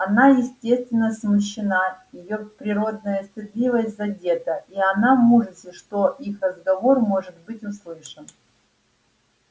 она естественно смущена её природная стыдливость задета и она в ужасе что их разговор может быть услышан